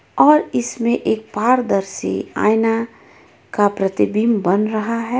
और इसमें एक पारदर्शि आइना का प्रतिबिम्ब बन रहा है.